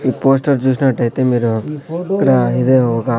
ఈ పోస్టర్ చూసినట్టైతే మీరు ఇక్కడా ఇది ఒగ--